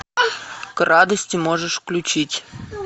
к радости можешь включить